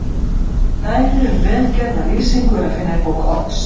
Dæmi um vel gerða lýsingu er að finna í bók Odds